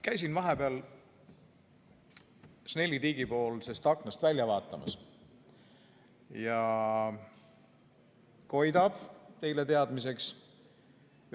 Käisin vahepeal Snelli tiigi poolsest aknast välja vaatamas ja koidab, teile teadmiseks.